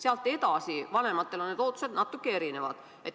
Vanematel inimestel on ootused natuke erinevad.